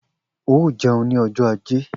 O jẹun ni ọjọ ajé/